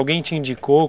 Alguém te indicou?